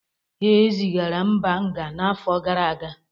Ee, ezigara Mba nga n’afọ gara aga.